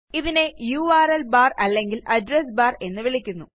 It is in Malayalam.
ഇതിനെ യുആർഎൽ ബാർ അല്ലെങ്കിൽ അഡ്രസ് ബാർ എന്ന് വിളിക്കുന്നു